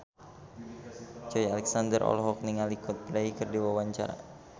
Joey Alexander olohok ningali Coldplay keur diwawancara